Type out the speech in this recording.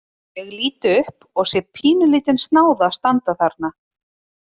Ég lít upp og sé pínulítinn snáða standa þarna.